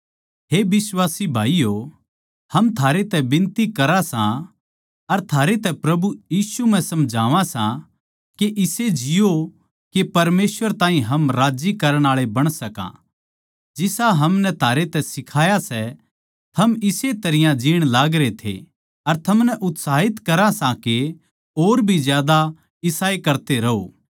हे बिश्वासी भाईयो हम थारै तै बिनती करा सां अर थारै तै प्रभु यीशु म्ह समझावां सां के इसे जिओ के परमेसवर ताहीं हम राज्जी करणा आळे बण सकां जिसा हमनै थारे तै सिखाया सै थम इस्से तरियां जीण लागरे थे अर थमनै उत्साहित करां सां के और भी ज्यादा इसा करते रहों